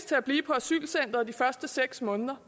til at blive på asylcenteret de første seks måneder